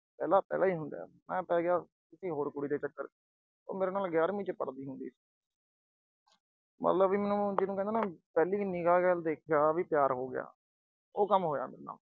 ਪਹਿਲਾ ਪਹਿਲਾ ਹੀ ਹੁੰਦਾ ਏ। ਮੈਂ ਪੈ ਗਿਆ ਕਿਸੇ ਹੋਰ ਕੁੜੀ ਦੇ ਚੱਕਰ ਚ। ਉਹ ਮੇਰੇ ਨਾਲ ਗਿਆਰਵੀਂ ਚ ਪੜ੍ਹਦੀ ਹੁੰਦੀ ਸੀਗੀ। ਮਤਲਬ ਵੀ ਮੈਨੂੰ ਜਿਹਨੂੰ ਕਹਿੰਦੇ ਹੁੰਦੇ ਆ ਵੀ ਪਹਿਲੀ ਨਿਗਾਹ ਨਾਲ ਵੇਖਿਆ ਵੀ ਪਿਆਰ ਹੋ ਗਿਆ, ਉਹ ਕੰਮ ਹੋਇਆ ਆਪਣਾ।